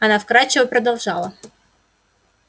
она вкрадчиво продолжала